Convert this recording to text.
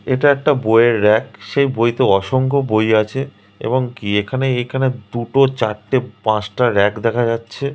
এটা একটা বইয়ের র‍্যাক । সেই বইতে অসংখ্য বই আছে এবং কি এখানে এখানে দুটো চারটে পাঁচটা র‍্যাক দেখা যাচ্ছে।